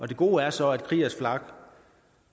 det gode er så at kriegers flak